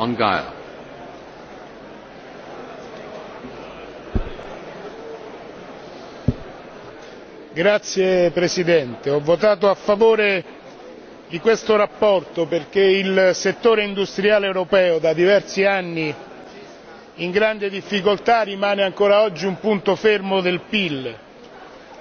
Signor Presidente, onorevoli colleghi, ho votato a favore di questa relazione perché il settore industriale europeo da diversi anni in grande difficoltà rimane ancora oggi un punto fermo del PIL.